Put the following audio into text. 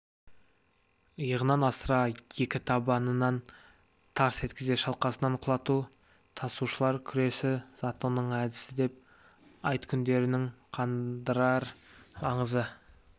иығынан асыра екі табанын тарс еткізе шалқасынан құлату тасушылар күресі затонның әдісі деп айт күндерінің қандырар аңызы